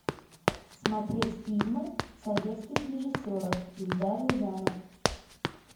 смотреть фильмы советских режиссеров эльдар рязанов